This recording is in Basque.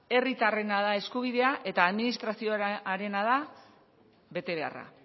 herritarrena da eskubidea eta administrazioarena da betebeharra